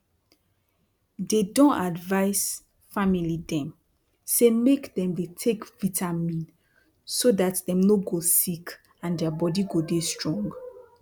dey don advise family dem say make dem dey take vitamin so dat dem no go sick and dia bodi go dey strong